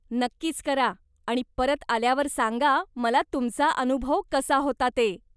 नक्कीच करा आणि परत आल्यावर सांगा मला तुमचा अनुभव कसा होता ते.